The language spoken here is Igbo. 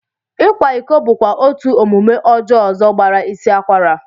Ịkwa iko bụkwa otú omume ọjọọ ọzọ gbara isi akwara